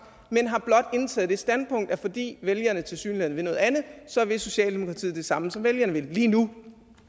men har blot indtaget det standpunkt at fordi vælgerne tilsyneladende vil noget andet så vil socialdemokratiet det samme som vælgerne vil lige nu